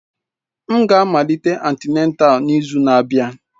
M ga-amalite antịnátál n'izu na-abịa.